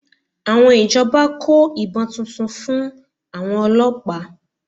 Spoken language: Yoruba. Àwọn ìjọba kó ìbọn tuntun fún àwọn ọlọ́pàá